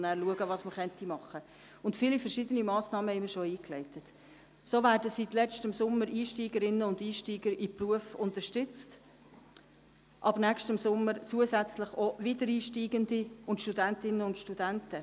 Es gibt wahnsinnig viele gute Lehrerinnen und Lehrer, aber es gibt zunehmend schlechte Lehrerinnen und Lehrer.